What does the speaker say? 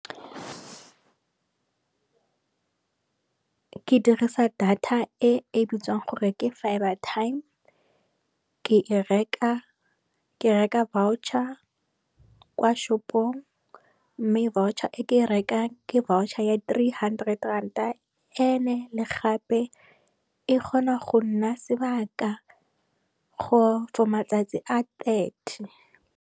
Ke dirisa data e bitswang gore ke fibre time, ke reka voucher kwa shopong mme voucher e ke e rekang ke voucher ya three hundred ranta ene le gape e kgona go nna sebaka for matsatsi a thirty.